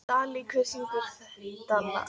Dalí, hver syngur þetta lag?